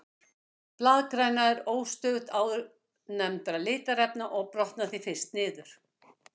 Blaðgræna er óstöðugust áðurnefndra litarefna og brotnar því fyrst niður.